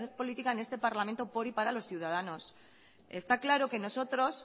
política en este parlamento por y para los ciudadanos está claro que nosotros